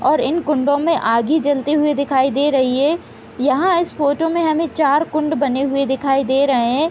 और इन कुंडो में आगी जलती हुई दिखाई दे रही है यहाँ इस फोटो में हमें चार कुंड बने हुए दिखाई दे रहें हैं।